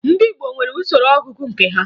Ndị Igbo nwere usoro ọgụgụ nke ha